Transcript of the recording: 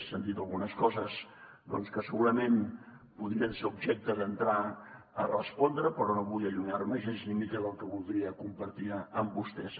s’han dit algunes coses doncs que segurament podrien ser objecte d’entrar a respondre les però no avui allunyar me gens ni mica del que voldria compartir amb vostès